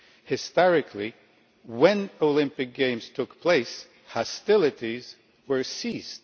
Historically, when Olympic Games took place, hostilities were ceased.